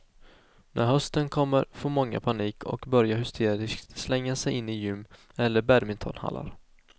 När hösten kommer får många panik och börjar hysteriskt slänga sig in i gym eller badmintonhallar.